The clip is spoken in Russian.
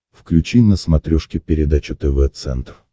включи на смотрешке передачу тв центр